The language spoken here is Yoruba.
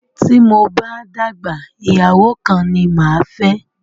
Tí mo bá dàgbà, ìyàwó kan ni máa fẹ́